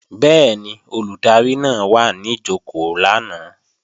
Bẹ́ẹ̀ni, Olùdarí náà wà ní jòkó lánàá